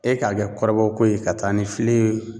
E ka kɛ kɔrɔbɔ ko ye ka taa ni filen ye